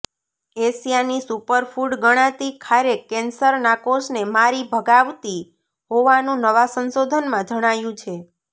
એશિયાની super food ગણાતી ખારેક કેન્સરના કોષને મારી ભગાવતી હોવાનું નવાં સંશોધનમાં જણાયું છે